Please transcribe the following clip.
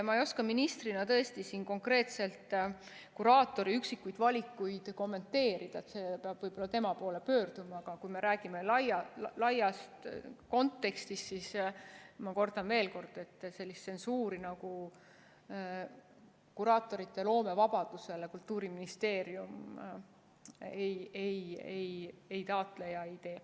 Ma ei oska ministrina tõesti konkreetselt kuraatori üksikuid valikuid kommenteerida, peab võib-olla tema poole pöörduma, aga kui me räägime laiast kontekstist, siis ma kordan veel kord, et tsensuuri kuraatorite loomevabadusele Kultuuriministeerium ei taotle ja ei tee.